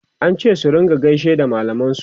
an ce su rinka gaishe da mallaman su